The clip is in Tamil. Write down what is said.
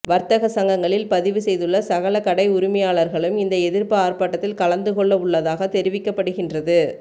வர்த்தக சங்கங்களில் பதிவு செய்துள்ள சகல கடை உரிமையாளர்களும் இந்த எதிர்ப்பு ஆர்ப்பாட்டத்தில் கலந்துகொள்ளவுள்ளதாக தெரிவிக்கப்படுகின்றது